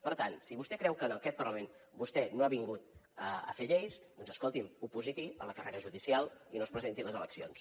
per tant si vostè creu que en aquest parlament vostè no ha vingut a fer lleis doncs escolti’m opositi a la carrera judicial i no es presenti a les eleccions